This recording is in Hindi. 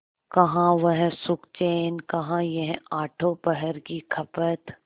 कहाँ वह सुखचैन कहाँ यह आठों पहर की खपत